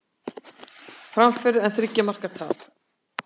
Framför en þriggja marka tap